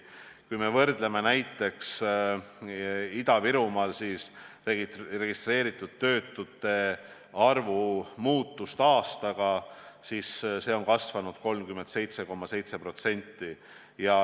Kui võrdleme Ida-Virumaal registreeritud töötute arvu muutust aasta lõikes, siis näeme, et see on kasvanud 37,7%.